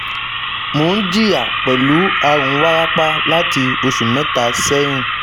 Mo n jiya pẹlu arun warapa lati oṣu mẹta sẹhin